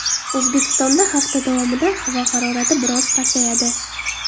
O‘zbekistonda hafta davomida havo harorati biroz pasayadi.